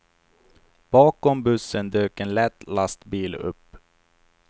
Bakom bussen dök en lätt lastbil upp.